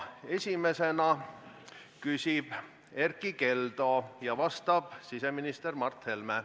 Esimesena küsib Erkki Keldo ja vastab siseminister Mart Helme.